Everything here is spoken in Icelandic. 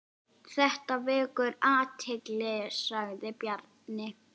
Þetta vekur athygli sagði Bjarni.